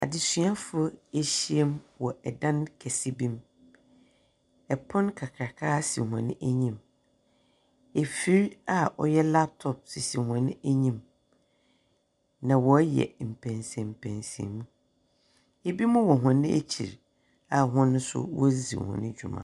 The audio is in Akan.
Adzesuafo ehyiam wɔ dan kɛse bi mu. Pon kakraka si hɔn enyim. Nfir a ɔyɛ laptop sisi hɔn enyim, na wɔreyɛ mpɛnsampɛnsam. Binom wɔ hɔn ekyir a hɔn nso wɔredzi hɔn dwuma.